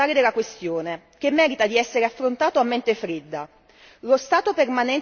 Questo è il nocciolo fondamentale della questione, che merita di essere affrontato a mente fredda.